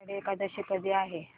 आषाढी एकादशी कधी आहे